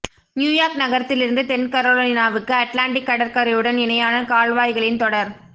New York நகரத்திலிருந்து தென் கரோலினாவுக்கு அட்லாண்டிக் கடற்கரையுடன் இணையான கால்வாய்களின் தொடர்